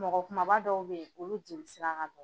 Mɔgɔ kumaba dɔw bɛ olu jeli sira ka dɔgɔ.